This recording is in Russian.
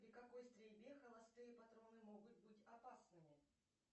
при какой стрельбе холостые патроны могут быть опасными